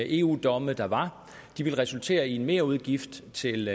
eu domme der var ville resultere i en merudgift til